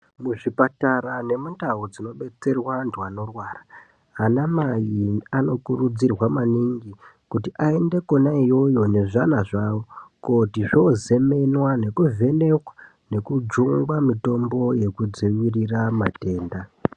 Muzvipatara nemundau dzinobatsirwa vantu vanorwara ana mai anokurudzirwa maningi kuti aende kona iyoyo nezvana zvawo kooti zvozemenwa neku vhenekwa nekujungwa mitombo yekudziirira matenda .